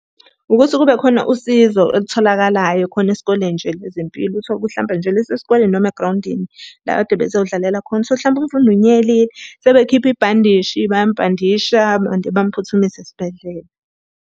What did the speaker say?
Ukuthi kube khona usizo elitholakalayo khona esikoleni nje lezempilo. Uthole ukuthi hlampe nje lesi sikoleni noma egrawundini la ekade bezodlalela khona, uthole ukuthi hlampe umfundi unyelile. Sebekhipha ibhandishi, bayamubhandisha and bamphuthumisa esibhedlela.